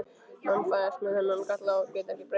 Menn fæðast með þennan galla og geta ekki breytt honum.